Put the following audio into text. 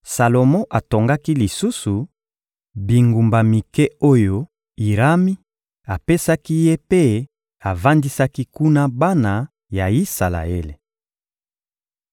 Salomo atongaki lisusu bingumba mike oyo Irami apesaki ye mpe avandisaki kuna bana ya Isalaele.